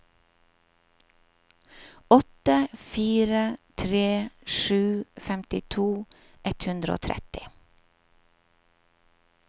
åtte fire tre sju femtito ett hundre og tretti